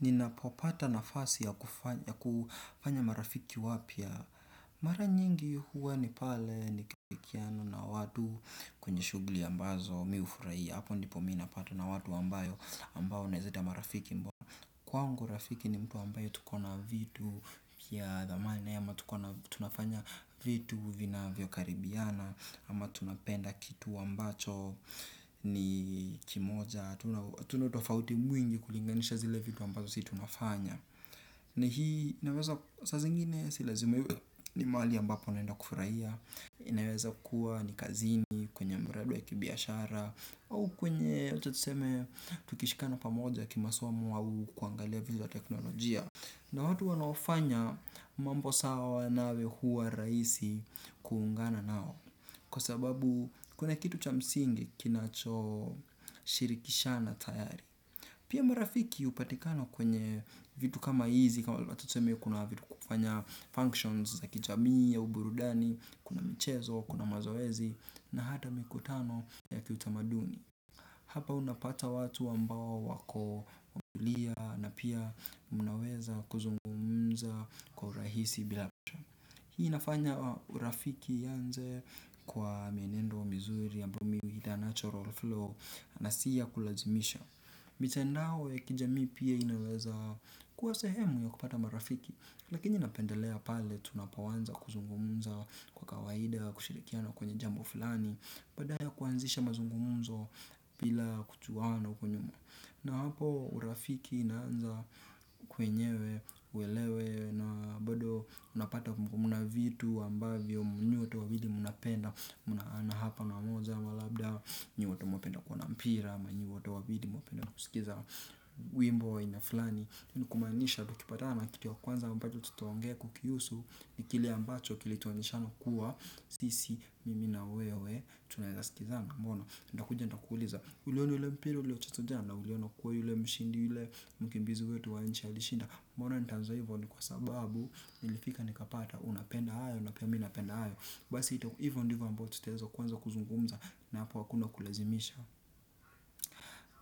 Ninapopata nafasi ya kufanya marafiki wapya. Mara nyingi huwa ni pale ni kipikiano na wadu kwenye shugli ambazo miufuraii. Hapo ndipo mina pato na wadu ambayo ambao naeze ita marafiki mbona Kwango rafiki ni mtu ambayo tukona vitu ya dhamali naye ama tunafanya vitu vinavyo karibiana ama tunapenda kitu ambacho ni kimoja. Tuna utofauti mwingi kulinganisha zile vidu ambazo si tunafanya. Na hii inaweza sa zingine si lazima iwe ni mali ambapo naenda kufurahia. Inaweza kuwa ni kazini kwenye mradi wa kibiashara au kwenye uchotuseme tukishikana pamoja kimasomo au kuangalia vitu za teknolojia. Na watu wanaofanya mambo sawa nawe hua raisi kuungana nao. Kwa sababu kuna kitu cha msingi kinacho shirikishana tayari. Pia marafiki upatikana kwenye vitu kama hizi kama wacha tseme kuna vitu kufanya functions za kijamii au burudani. Kuna michezo, kuna mazoezi na hada mikutano ya kiutamaduni. Hapa unapata watu ambao wako mbulia na pia mnaweza kuzungumza kwa urahisi bilapasho. Hii inafanya urafiki yanze kwa mienendo mizuri ambumi huita natural flow na siya kulazimisha. Mitandao ya kijamii pia inaweza kuwa sehemu ya kupata marafiki. Lakini napendelea pale tunapawanza kuzungumunza kwa kawaida, kushirikiana kwenye jambo flani. Baadaya kuanzisha mazungumunzo bila kutuwana uko nyuma. Na hapo urafiki inaanza kwenyewe, uelewe, na bado unapata mna vitu ambavyo, nyote wawili mnapenda, na hapa na moza, ama labda, nyote wote mwapenda kuona mpira, ama nyi wote wawili mwapenda kusikiza, wimbo wa aina flani. Ni kumaanisha tukipatana na kitu ya kwanza ambacho tutaongea kukihusu ni kile ambacho kilituonyeshana kua sisi, mimi na wewe, tunaezaskizana mbona. Ndakuja ndakuuliza, uliona ule mpiri ulio chezwa jana uliona kua yule mshindi ule mkibizi wetu wa nchi alishinda. Mwana ntaanzo hivyo ni kwa sababu, ilifika nikapata, unapenda ayo, na pia mi napenda ayo. Basi hivyo ndivyo ambayo tutezo kwanza kuzungumza na hapa akuna kulazimisha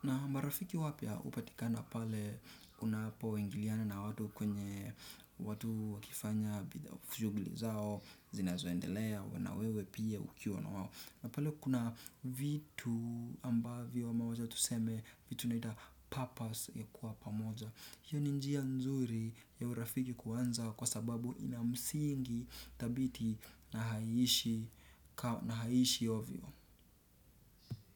na marafiki wapya hupatikana pale unapoingiliana na watu kwenye watu wakifanya, fujugli zao, zinazoendelea, wanawewe pia ukiwa na wawo. Napale kuna vitu ambavyo mawaza tuseme vitu naita purpose ya kuwa pamoja. Hiyo ni njia nzuri ya urafiki kuanza kwa sababu inamsingi tabiti na haiishi ovyo.